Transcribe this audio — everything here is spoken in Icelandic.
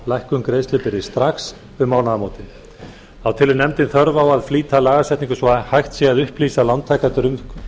lækkun greiðslubyrði strax um mánaðamótin þá telur nefndin þörf á að flýta lagasetningunni svo að hægt sé að upplýsa lántakendur um